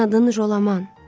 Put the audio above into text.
Sənin adın Jolaman.